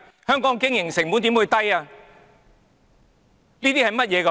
香港的經營成本又怎會低？